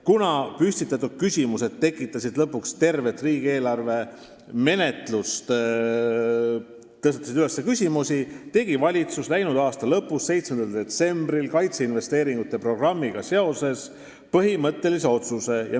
Kuna püstitatud küsimused takistasid lõpuks tervet riigieelarve menetlust, tegi valitsus läinud aasta lõpus, 7. detsembril kaitseinvesteeringute programmiga seoses põhimõttelise otsuse.